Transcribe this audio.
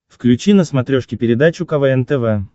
включи на смотрешке передачу квн тв